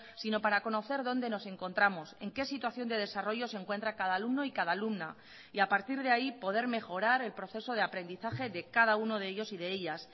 sino para conocer dónde nos encontramos en qué situación de desarrollo se encuentra cada alumno y cada alumna y a partir de ahí poder mejorar el proceso de aprendizaje de cada uno de ellos y de ellas